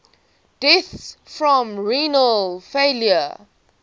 deaths from renal failure